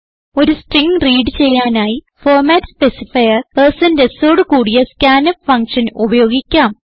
ഒരു string read ചെയ്യാനായി format specifier sഓട് കൂടിയ scanf ഫങ്ഷൻ ഉപയോഗിക്കാം